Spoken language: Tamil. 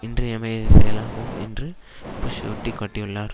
இன்றியமையாத செயலாகும் என்று புஷ் சுட்டி காட்டினார்